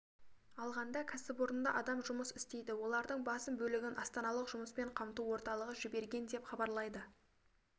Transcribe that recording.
алғанда кәсіпорында адам жұмыс істейді олардың басым бөлігін астаналық жұмыспен қамту орталығы жіберген деп хабарлайды